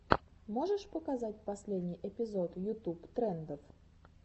можешь показать последний эпизод ютуб трендов